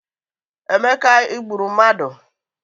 Emeka igburu mmadụ